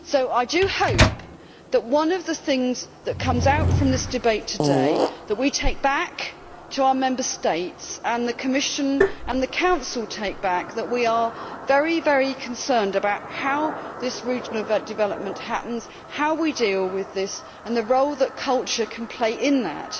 I hope that one of the things to come out of this debate today that we take back to our Member States, and the Commission and the Council take back is that we are very concerned about how this regional development happens, how we deal with this and the role that culture can play in that.